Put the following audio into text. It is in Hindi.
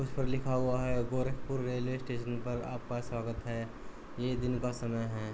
उस पर लिखा हुआ है गोरखपुर रेलवे स्टेशन पर आपका स्वागत है। ये दिन का समय है।